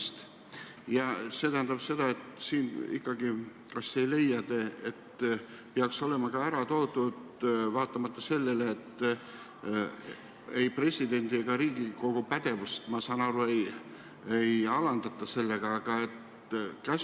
Kas te ei leia, et see tähendab seda, et siin ikkagi peaks olema ka ära toodud käsuliinid, kuigi ei presidendi ega Riigikogu pädevust, ma saan aru, ei alandata?